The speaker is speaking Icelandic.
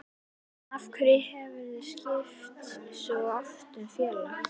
Af hverju hefurðu skipt svo oft um félag?